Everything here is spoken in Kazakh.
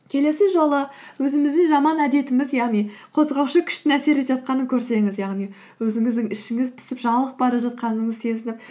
келесі жолы өзіміздің жаман әдетіміз яғни қозғаушы күштің әсер етіп жатқанын көрсеңіз яғни өзіңіздің ішіңіз пысып жалығып бара жатқаныңызды сезініп